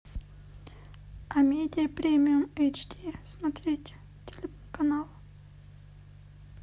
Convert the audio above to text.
амедия премиум эйч ди смотреть телеканал